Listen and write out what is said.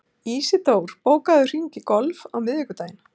Ísidór, bókaðu hring í golf á miðvikudaginn.